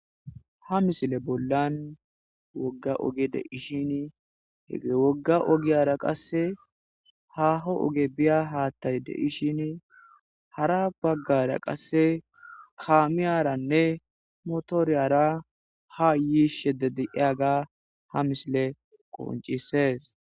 Ha misile bollan wogga oge de'ishin hege wogga ogiyara qasse haho oge biya haattay de'ishin hara baggara qasse kaamiyaranne motoriyara ha yiishedediiyaga ha misile qoncisees.